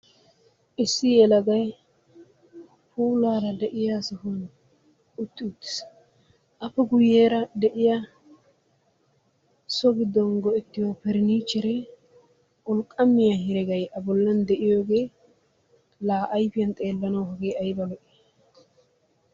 Issi yelagay puulara de'iyaa sohuwan utti uttiis. Appe guyera de'iyaa so giddon go'ettiyo furnituree, wolqqamiya heeregay a bollan de'iyoge la ayfiyan xeellanawu i aybba lo'o.